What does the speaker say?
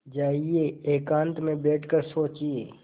जाइए एकांत में बैठ कर सोचिए